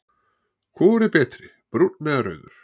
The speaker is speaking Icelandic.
Hvor er betri, brúnn eða rauður?